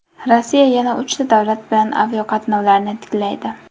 Rossiya yana uchta davlat bilan aviaqatnovlarni tiklaydi.